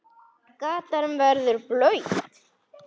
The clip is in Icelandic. Gatan verður blaut.